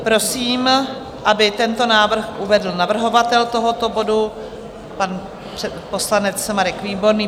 Prosím, aby tento návrh uvedl navrhovatel tohoto bodu, pan poslanec Marek Výborný.